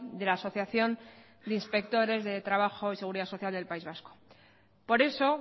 de la asociación de inspectores de trabajo y seguridad social del país vasco por eso